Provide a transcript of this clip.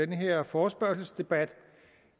den her forespørgselsdebat